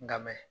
Nka mɛ